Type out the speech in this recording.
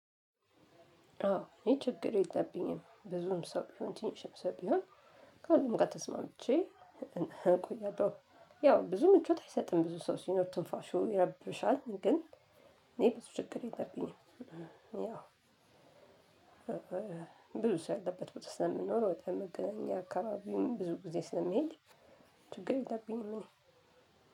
አዎ እኔ ችግር የለብኝም ብዙም ሰው ቢሆን ትንሽም ሰው ቢሆን ከሁሉም ጋር ተስማምቼ እቆያለው። ያው ብዙ ምቾት አይሰጥም ብዙ ሰው ሲኖር ትንፋሹ ይረብሻል። ግን እኔ ብዙ ችግር የለብኝም። ያው ብዙ ሰው ያለበት ቦታ ስለምንኖር ወደ መገናኛ አካባቢም ብዙ ጊዜ ስለምሄድ። ችግር የለብኝም እኔ